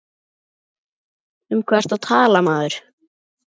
Um hvað ertu að tala maður?